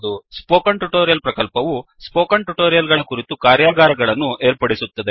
spoken tutorial ಪ್ರಕಲ್ಪವು spoken tutorial ಗಳ ಕುರಿತು ಕಾರ್ಯಾಗಾರಗಳನ್ನು ಏರ್ಪಡಿಸುತ್ತದೆ